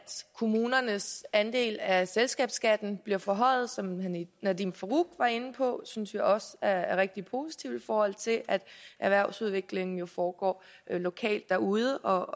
kommunernes andel af selskabsskatten bliver forhøjet som nadeem farooq var inde på synes vi også er rigtig positivt i forhold til at erhvervsudviklingen jo foregår lokalt derude